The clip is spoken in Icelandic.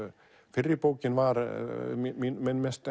fyrri bókin var minn mesti